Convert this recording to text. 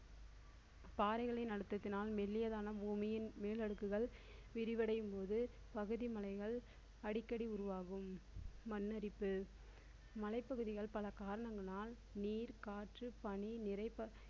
பாறைகளின் அழுத்தத்தினால் மெல்லியதான பூமியின் மேல் அடுக்குகள் விரிவடையும்போது பகுதி மலைகள் அடிக்கடி உருவாகும். மண்ணரிப்பு மலைப்பகுதிகள் பல காரணங்களால் நீர் காற்று பணி நிறை~